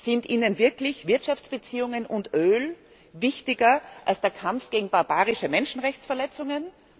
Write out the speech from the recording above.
Sind Ihnen wirklich Wirtschaftsbeziehungen und Öl wichtiger als der Kampf gegen barbarische Menschenrechtsverletzungen?